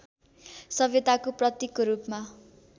सभ्यताको प्रतीकको रूपमा